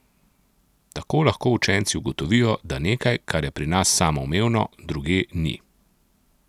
Tako lahko učenci ugotovijo, da nekaj, kar je pri nas samoumevno, drugje ni.